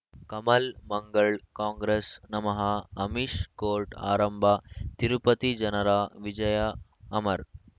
Kamal Mangal Congress ನಮಃ Amish court ಆರಂಭ ತಿರುಪತಿ ಜನರ ವಿಜಯ ಅಮರ್